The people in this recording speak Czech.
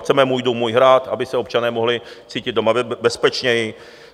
Chceme "můj dům, můj hrad", aby se občané mohli cítit doma bezpečněji.